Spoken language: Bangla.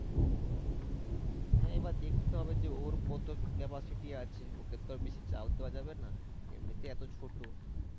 হ্যাঁ এবার দেখতে হবে যে ওর কত capacity আছে ওকে তো বেশি চাপ দেওয়া যাবে না এমনিতেই এত ছোট